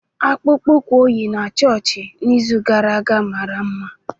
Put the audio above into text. Akpụkpọ ụkwụ ọ yi na chọọchị n'izu gara aga mara mma